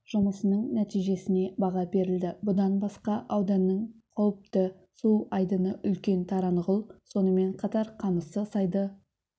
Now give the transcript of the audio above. жұмысының нәтижесіне баға берілді бұдан басқа ауданның қауіпті су айдыны үлкен таранғұл сонымен қатар қамысты сайды